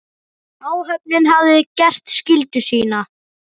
Áhöfnin hafði gert skyldu sína.